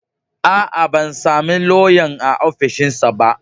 A a, ban sami lauyan a ofishinsa ba.